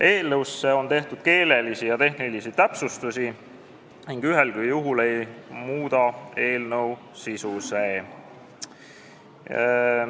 Eelnõus on tehtud keelelisi ja tehnilisi täpsustusi, mis ühelgi juhul ei muuda eelnõu sisu.